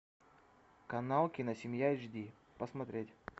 канал киносемья эйч ди посмотреть